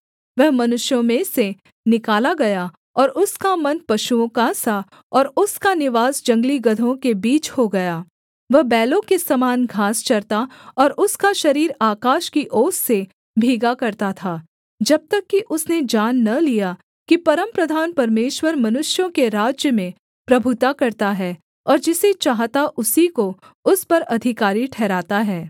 वह मनुष्यों में से निकाला गया और उसका मन पशुओं का सा और उसका निवास जंगली गदहों के बीच हो गया वह बैलों के समान घास चरता और उसका शरीर आकाश की ओस से भीगा करता था जब तक कि उसने जान न लिया कि परमप्रधान परमेश्वर मनुष्यों के राज्य में प्रभुता करता है और जिसे चाहता उसी को उस पर अधिकारी ठहराता है